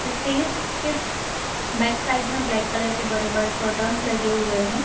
Stage के back side में black colour के बड़े-बड़े कर्टेन लगे हुए हैं।